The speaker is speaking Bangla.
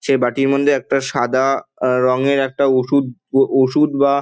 সে বাটির মধ্যে একটা সাদা-আ আ রঙের একটা ঔষুধ উ ঔষুধ বা--